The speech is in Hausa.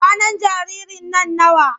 Kwanan jaririn nan nawa?